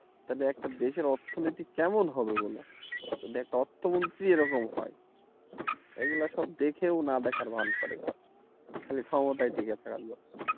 তাইলে একটা দেশের অর্থনীতি কেমন হবে যদি একটা অর্থ মন্ত্রী এরকম হয় এগুলা সব দেখেও না দেখার ভান করে খালি ক্ষমতায় টিকে থাকা লাগবে